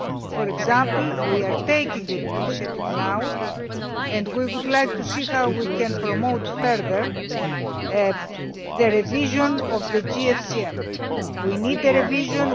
For example, we are taking an initiative now and we would like to see how we can promote further the revision of the GFCM. We need the revision